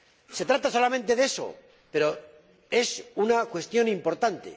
Se trata solamente de eso, pero es una cuestión importante.